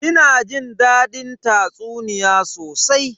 Ina jin dadin tatsuniya sosai.